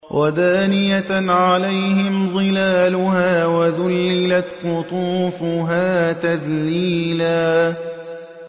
وَدَانِيَةً عَلَيْهِمْ ظِلَالُهَا وَذُلِّلَتْ قُطُوفُهَا تَذْلِيلًا